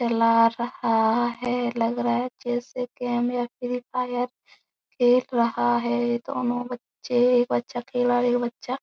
चला रहा है लग रहा है जैसे के गेम या फ्री फायर खेल रहा है दोनों बच्चे एक बच्चा अकेला एक बच्चा --